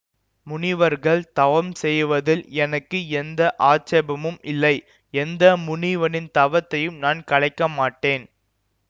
முனிவர்கள் தவம் செய்வதில் எனக்கு எந்த ஆட்சேபமும் இல்லை எந்த முனிவனின் தவத்தையும் நான் கலைக்க மாட்டேன்